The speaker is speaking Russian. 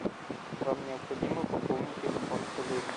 вам необходимо пополнить телефон коллеге